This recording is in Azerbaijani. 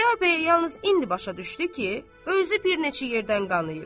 Xudayar bəy yalnız indi başa düşdü ki, özü bir neçə yerdən qanayıb.